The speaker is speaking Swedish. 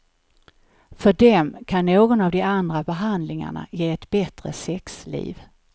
För dem kan någon av de andra behandlingarna ge ett bättre sexliv.